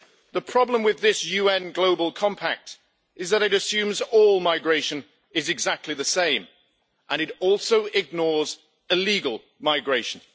The problem with this UN Global Compact is that it assumes all migration is exactly the same, and it also ignores illegal migration.